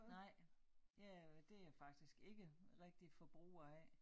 Nej jeg det jeg faktisk ikke rigtig forbruger af